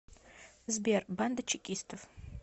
сбер банда чекистов